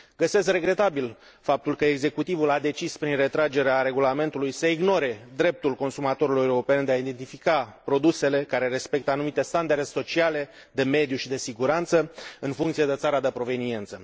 Găsesc regretabil faptul că executivul a decis, prin retragerea regulamentului, să ignore dreptul consumatorilor europeni de a identifica produsele care respectă anumite standarde sociale, de mediu și de siguranță, în funcție de țara de proveniență.